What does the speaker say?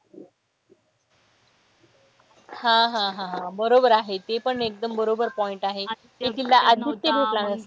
हा हा हा बरोबर आहे ते पण एकदम बरोबर point आहे. ते तिला आदित्य भेटला नसता.